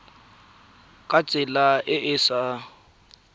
ka tsela e e sa